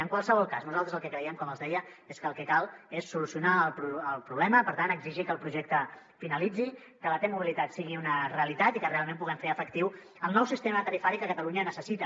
en qualsevol cas nosaltres el que creiem com els deia és que el que cal és solucionar el problema per tant exigir que el projecte finalitzi que la t mobilitat sigui una realitat i que realment puguem fer efectiu el nou sistema tarifari que catalunya necessita